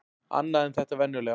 Annað en þetta venjulega.